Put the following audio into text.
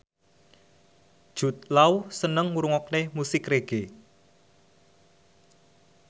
Jude Law seneng ngrungokne musik reggae